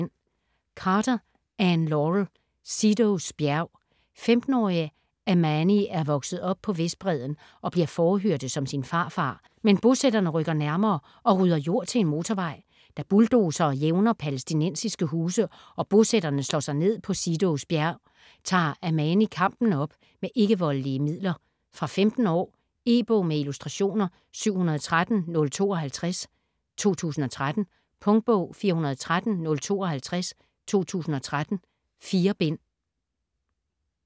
Carter, Anne Laurel: Seedos bjerg 15-årige Amani er vokset op på Vestbredden, og bliver fårehyrde som sin farfar, men bosætterne rykker nærmere og rydder jord til en motorvej. Da bulldozere jævner palæstinensiske huse, og bosætterne slår sig ned på Seedos bjerg, tager Amani kampen op med ikke-voldelige midler. Fra 15 år. E-bog med illustrationer 713052 2013. Punktbog 413052 2013. 4 bind.